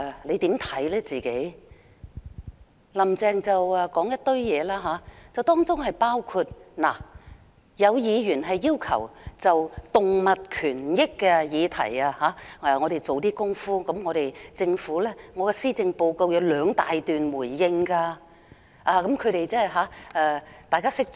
"林鄭"說了一番話，大致的意思是：有議員要求政府就動物權益的議題做一些工夫，而我在施政報告內有兩大段作出回應。